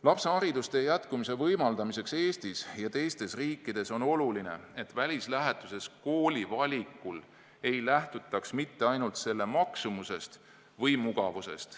Lapse haridustee jätkumise võimaldamiseks Eestis ja teistes riikides on oluline, et välislähetuses kooli valikul ei lähtutaks ainult selle maksumusest või mugavusest.